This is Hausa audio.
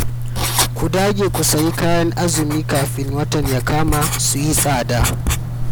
Ku dage ku sayi kayan azumi kafin watan ya kama su yi tsada